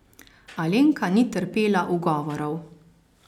Alenka ni trpela ugovorov.